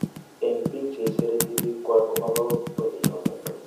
Ene pig che iserete pikuak komopogokto pichoton?